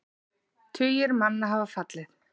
Tugir manna hafa fallið.